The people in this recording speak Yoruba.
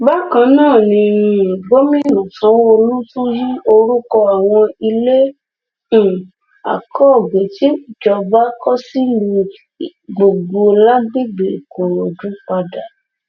bákan náà ni um gomina sanwóolu tún yí orúkọ àwọn ilé um akọgbẹ tíjọba kọ sílùú ìgbogbo lágbègbè ìkòròdú padà